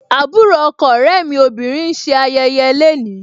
Àbúrò ọkọ ọ̀rẹ́ mi obìnrin ń ṣe ayẹyẹ le ni.